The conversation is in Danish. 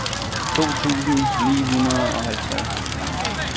to tusind og nioghalvtreds